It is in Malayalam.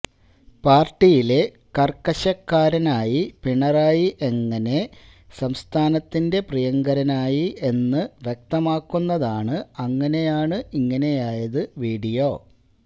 പാർട്ടിയിലെ കാർക്കശ്യക്കാരനായി പിണറായി എങ്ങനെ സംസ്ഥാനത്തിന്റെ പ്രിയങ്കരനായി എന്ന് വ്യക്തമാക്കുന്നതാണ് അങ്ങനെയാണ് ഇങ്ങനെയായത് വീഡിയോ